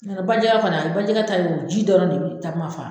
Ɲo tɛ bajɛ fana bajɛgɛ ta in o ji dɔrɔn de be takuma faa